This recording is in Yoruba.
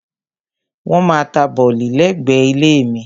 Wọ́n maá ta bọ̀lì lẹ́gbẹ̀ẹ́ ilé mi.